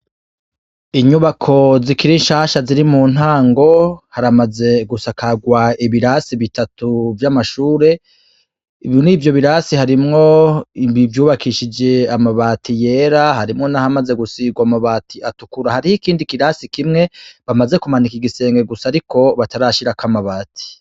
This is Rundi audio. Inyubako zikiri nshasha zikiri mu ntango, haramaze gusakagwa ibirasi bitatu vy'amashure, muri ivyo birasi harimwo ivyubakishije amabati yera, harimwo nahamaze gusigwa amabati atukura, hari ikindi kirasi kimwe bamaze kumanika igisenge gusa ariko batarashirako amabati.